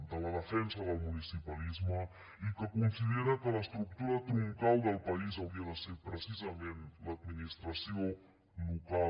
de la defensa del municipalisme i que considera que l’estructura troncal del país hauria de ser precisament l’administració local